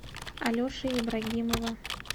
алеши ибрагимова